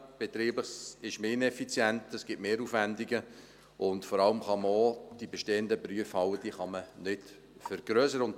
Betrieblich ist man ineffizient, es gibt Mehraufwendungen, und vor allem kann man auch die bestehenden Prüfhallen nicht vergrössern.